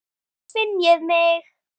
Þá finn ég mig.